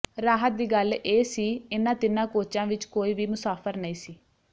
ਰਾਹਤ ਦੀ ਗੱਲ ਇਹ ਸੀ ਇਨ੍ਹਾਂ ਤਿੰਨਾਂ ਕੋਚਾਂ ਵਿਚ ਕੋਈ ਵੀ ਮੁਸਾਫ਼ਰ ਨਹੀਂ ਸੀ